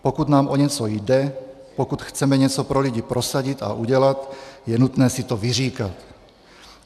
Pokud nám o něco jde, pokud chceme něco pro lidi prosadit a udělat, je nutné si to vyříkat.